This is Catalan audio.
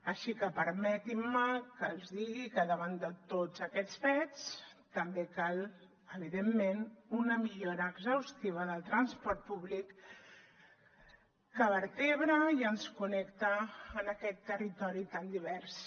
així que permetin me que els digui que davant de tots aquests fets també cal evidentment una millora exhaustiva del transport públic que vertebra i ens connecta en aquest territori tan divers